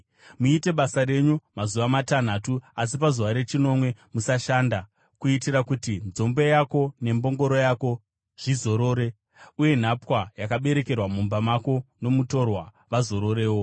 “Muite basa renyu mazuva matanhatu, asi pazuva rechinomwe musashanda, kuitira kuti nzombe yako nembongoro yako zvizorore uye nhapwa yakaberekerwa mumba mako, nomutorwa, vazororewo.